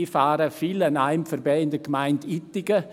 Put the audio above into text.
Ich fahre in der Gemeinde Ittigen oft an einem vorbei.